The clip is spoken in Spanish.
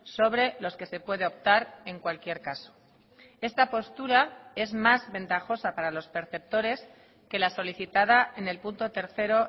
sobre los que se puede optar en cualquier caso esta postura es más ventajosa para los perceptores que la solicitada en el punto tercero